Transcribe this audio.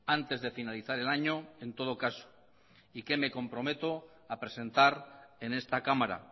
antes de finalizar el año en todo caso y que me comprometo a presentar en esta cámara